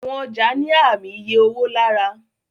Àwọn ọjà ní Ààmì iye owó lára.